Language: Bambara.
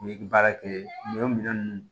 U ye baara kɛ nin o minɛn ninnu